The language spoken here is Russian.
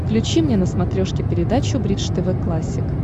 включи мне на смотрешке передачу бридж тв классик